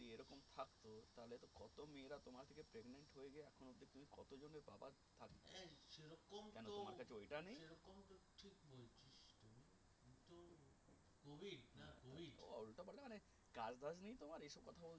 কাজ হয়নি তোমার এইসব কথা বললে?